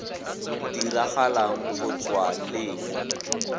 diragalang go tswa le mo